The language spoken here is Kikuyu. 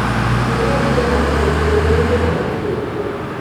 Mĩmera ĩratharĩkĩirwo nĩ tũtambu tũingĩ.